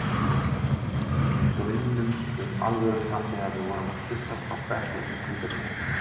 Draumnum um alvöruna þegar við vorum að kyssast á bekk undir hvíta trénu.